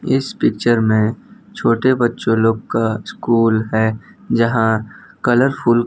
इस पिक्चर मे छोटे बच्चो लोग का स्कूल है जहां कलरफुल --